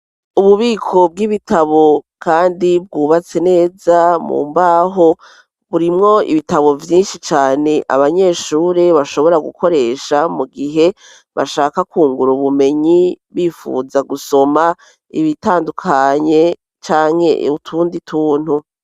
Ububiko bw'ibitabo kandi bwubatse neza mu mbaho burimwo ibitabo vyinshi cane abanyeshure bashobora gukoresha mu gihe bashaka kungura ubumenyi bifuza gusoma ibitandukanye canke utundi tuntu.